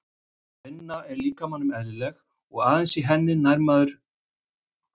Vinna er líkamanum eðlileg og aðeins í henni nær maðurinn sínum fulla þroska.